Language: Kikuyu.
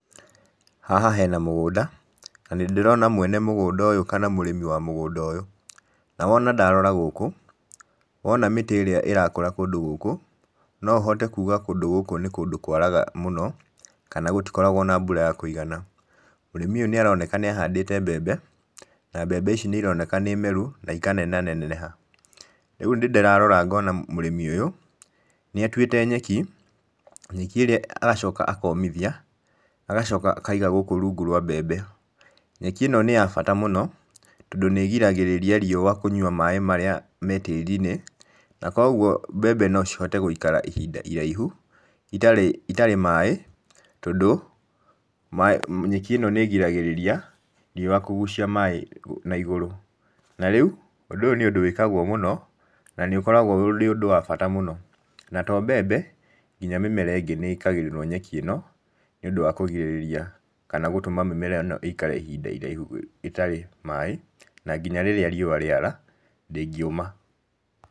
Haha hena mũgũnda na nĩndĩrona mwene mũgũnda ũyũ kana mũrĩmi wa mũgũnda ũyũ, na wona ndarora gũkũ, wona mĩtĩ ĩrĩa ĩrakũra kũndũ gũkũ, no ũhote kuuga kũndũ gũkũ nĩ kũndũ kwaraga mũno, kana gũtikoragwo na mbura ya kũigana. Mũrĩmi ũyũ nĩ aroneka nĩ ahandĩte mbembe, na mbembe ici nĩ ironeka nĩ meru na ikanenehaneneha, rĩu nĩ ndĩrarora ngona mũrĩmi ũyũ, nĩ atuĩte nyeki, nyeki ĩrĩa agacoka akomithia, agacoka akaiga gũkũ rungu rwa mbembe. Nyeki ĩno nĩ ya bata mũno, tondũ nĩ ĩgiragĩrĩria riũa kũnywa maĩ marĩa me tĩri-inĩ, na koguo mbembe no cihote gũikara ihinda iraihu, itarĩ itarĩ maĩ, tondũ nyeki ĩno nĩ ĩgiragĩrĩria riũa kũgucia maĩ na igũrũ, na rĩu ũndũ ũyũ nĩ ũndũ wĩkagwo mũno, na nĩ ũkoragwo ũrĩ ũndũ wa bata mũno, na to mbembe, nginya mĩmera ĩngĩ nĩ ĩkagĩrĩrwo nyeki ĩno, nĩũndũ wa kũgirĩrĩria kana gũtũma mĩmera ĩno ĩikare ihinda iraihu ĩtarĩ maĩ, na nginya rĩrĩa riũa rĩara, ndĩngĩũma.